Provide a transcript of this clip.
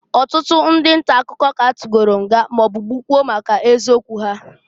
Ọtụtụ ndị ntakụkọ k'a tugolu nga maọbụ gbukwuo maka eziokwu ha.